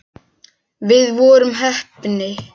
Við vorum heppni.